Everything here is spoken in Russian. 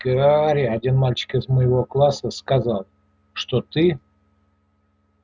гарри один мальчик из моего класса сказал что ты